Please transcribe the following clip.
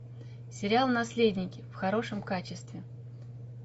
сериал наследники в хорошем качестве